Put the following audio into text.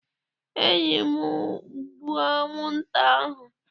Enyi m, gbuo anwụnta ahụ!